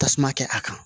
Tasuma kɛ a kan